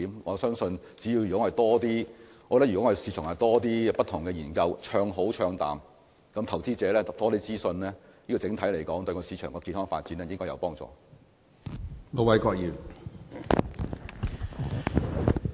我相信如果能為市場進行更多不同的研究，不管是唱好還是唱淡，讓投資者獲得更多資訊，對整體市場的健康發展也會有幫助。